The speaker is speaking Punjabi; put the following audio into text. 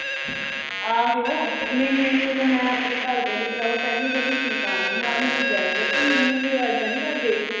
ਆਹੋ, ਨਹੀਂ ਮੈਨੂੰ ਤਾਂ, ਮੈਂ ਆਪਣੇ ਘਰ ਦਿਆਂ ਦੀ ਭਰਾਵਾ ਪਹਿਲੀ ਪਹਿਲੀ ਸੰਤਾਨ ਆਂ, ਮੈਂ ਉਨ੍ਹਾਂ ਦੀ ਜਾਈ ਆਂ, ਪਰ ਮੈਨੂੰ ਵੀ ਉਹ ਐਦਾਂ ਨੀਂ ਕਰਦੇ।